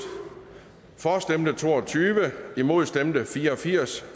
for stemte to og tyve imod stemte fire og firs